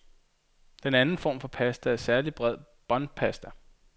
Den anden form for pasta er særlig bred båndpasta.